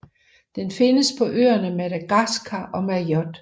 Den findes på øerne Madagaskar og Mayotte